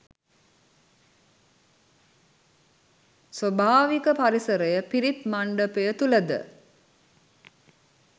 ස්වභාවික පරිසරය පිරිත් මණ්ඩපය තුළද